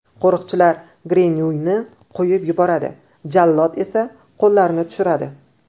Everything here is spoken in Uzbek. Qo‘riqchilar Grenuyni qo‘yib yuboradi, jallod esa qo‘llarini tushiradi.